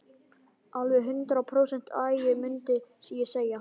Alveg hundrað prósent agi, mundi ég segja.